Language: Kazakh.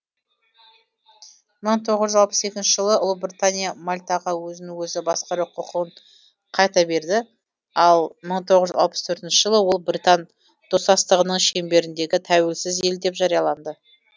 мың тоғыз жүз алпыс екінші жылы ұлыбритания мальтаға өзін өзі басқару құқын қайта берді ал мың тоғыз жүз алпыс төртінші жылы ол британ достастығының шеңберіндегі тәуелсіз ел деп жарияланды